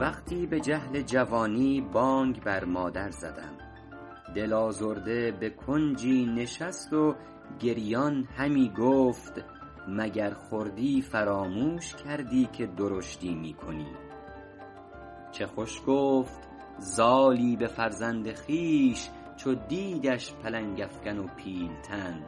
وقتی به جهل جوانی بانگ بر مادر زدم دل آزرده به کنجی نشست و گریان همی گفت مگر خردی فراموش کردی که درشتی می کنی چه خوش گفت زالی به فرزند خویش چو دیدش پلنگ افکن و پیل تن